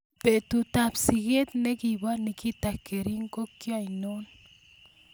Betutap siget ne po Nikita Kering ko ainon